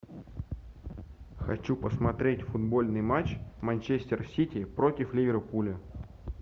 хочу посмотреть футбольный матч манчестер сити против ливерпуля